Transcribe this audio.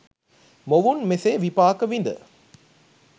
මොවුන් මෙසේ විපාක විඳ